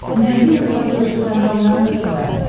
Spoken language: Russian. найди на смотрешке канал нано тв